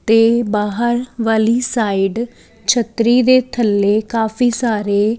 ਤੇ ਬਾਹਰ ਵਾਲੀ ਸਾਇਡ ਛੱਤਰੀ ਦੇ ਥੱਲੇ ਕਾਫੀ ਸਾਰੇ --